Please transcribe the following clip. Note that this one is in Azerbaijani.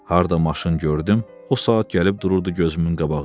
Harda maşın gördüm, o saat gəlib dururdu gözümün qabağında.